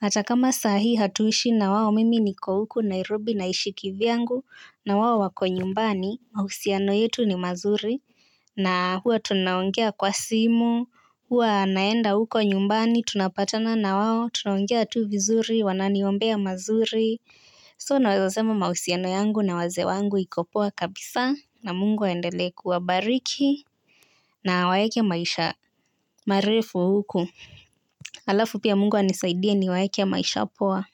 Atakama sahi hatuishi na wao mimi niko huku nairobi na ishi vyangu na wao wako nyumbani mahusiano yetu ni mazuri. Na huwa tunaongea kwa simu, huwa naenda huko nyumbani, tunapatana na wao, tunaongea tu vizuri, wanani ombea mazuri. So naeza sema mahusiano yangu na waze wangu ikopoa kabisa na mungu waendelee kuwabariki na waeke maisha marefu huku. Alafu pia mungu wa nisaidia ni waeke maisha poa.